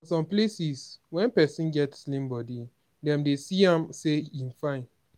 for some places when person get slim bodi dem dey see am sey im fine